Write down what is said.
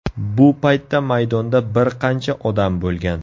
Bu paytda maydonda bir qancha odam bo‘lgan.